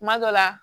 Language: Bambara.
Kuma dɔ la